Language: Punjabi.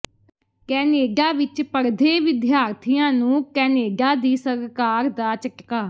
ਕੈਨੇਡਾ ਵਿੱਚ ਪੜ੍ਹਦੇ ਵਿਦਿਆਰਥੀਆਂ ਨੂੰ ਕੈਨੇਡਾ ਦੀ ਸਰਕਾਰ ਦਾ ਝਟਕਾ